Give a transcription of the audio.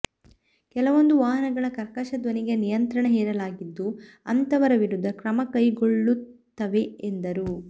ಕೆಲವೊಂದು ವಾಹನಗಳ ಕರ್ಕಶ ಧ್ವನಿಗೆ ನಿಯಂತ್ರಣ ಹೇರಲಾಗಿದ್ದು ಅಂತವರ ವಿರುದ್ದ ಕ್ರಮಕೈಗೊಳ್ಳುತ್ತವೆ ಎಂದರು